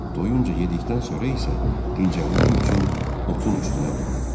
Doyunca yedikdən sonra isə dincəlmək üçün otun üstünə uzandıq.